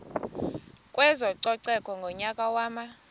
kwezococeko ngonyaka wama